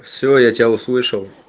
всё я тебя услышал